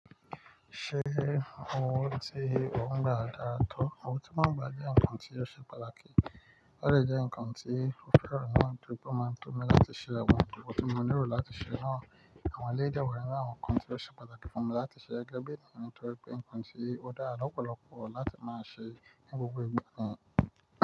Ṣé owó tí o ń gba dára tó? Owó tí mo ń gba jẹ́ ǹkan tí ó ṣe pàtàkì. Ó dẹ́ ǹkan tí mo fẹ́ràn naa tórí pé ó máa tó mi láti ṣe àwọn nǹkan kàn tí mo nílò láti ṣe náà. Àwọn ẹ́leyi dẹ̀ wá nínu awon nkàn ti ó ṣe pàtàkì fún mi láti ṣe gẹgẹ́ bi nítorí pé ǹkan tí ó dára lọ́pọ̀lọpọ̀ láti máa ṣe ní gbogbo ìgbà náà.